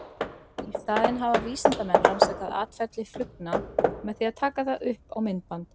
Í staðinn hafa vísindamenn rannsakað atferli flugna með því að taka það upp á myndband.